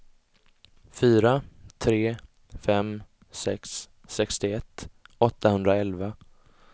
fyra tre fem sex sextioett åttahundraelva